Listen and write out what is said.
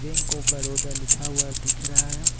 इनको बड़ोदा लिखा हुआ दिख रहा है।